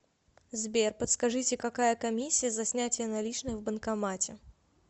сбер подскажите какая комиссия за снятие наличных в банкомате